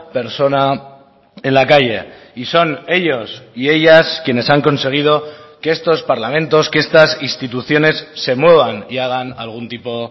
persona en la calle y son ellos y ellas quienes han conseguido que estos parlamentos que estas instituciones se muevan y hagan algún tipo